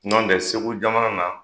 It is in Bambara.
Nɔntɛ segu jamana na